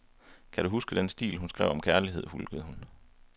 Kan du huske den stil, han skrev om kærlighed, hulkede hun.